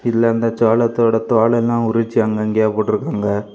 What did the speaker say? இதுல அந்த சோளத்தோட தோல் எல்லா உரிச்சு அங்கங்கையா போட்ருக்காங்க.